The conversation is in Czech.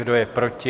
Kdo je proti?